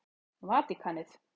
Vatíkanið